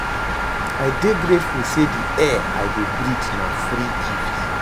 I dey grateful say di air wey I dey breathe na free gift